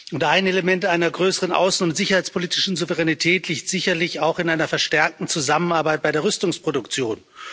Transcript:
Und ein Element einer größeren außen und sicherheitspolitischen Souveränität liegt sicherlich auch in einer verstärkten Zusammenarbeit bei der Rüstungsproduktion.